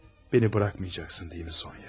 Məni buraxmayacaqsan, elə deyilmi, Sonya?